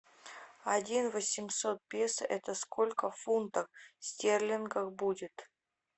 один восемьсот песо это сколько фунтов стерлингов будет